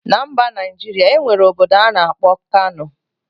Na mba Najiria, enwere obodo ana akpo Kano.